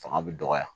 Fanga bɛ dɔgɔya